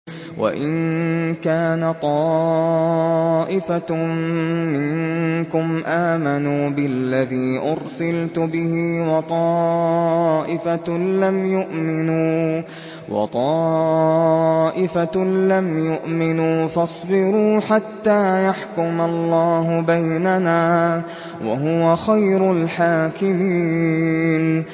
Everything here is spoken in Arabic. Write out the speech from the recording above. وَإِن كَانَ طَائِفَةٌ مِّنكُمْ آمَنُوا بِالَّذِي أُرْسِلْتُ بِهِ وَطَائِفَةٌ لَّمْ يُؤْمِنُوا فَاصْبِرُوا حَتَّىٰ يَحْكُمَ اللَّهُ بَيْنَنَا ۚ وَهُوَ خَيْرُ الْحَاكِمِينَ